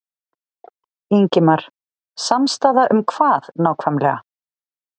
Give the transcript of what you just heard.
Ingimar: Samstaða um hvað nákvæmlega?